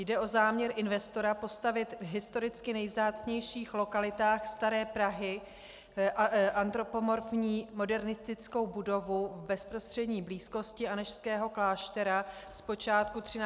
Jde o záměr investora postavit v historicky nejvzácnějších lokalitách staré Prahy antropomorfní modernistickou budovu v bezprostřední blízkosti Anežského kláštera z počátku 13. století.